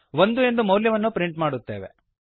ಒಂದು ಎಂದು ಮೌಲ್ಯವನ್ನು ಪ್ರಿಂಟ್ ಮಾದುತ್ತೇವೆ